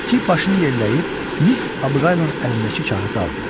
Makki başını yelləyib Miss Abqaylın əlindəki kağızı aldı.